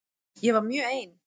Ég var mjög ein.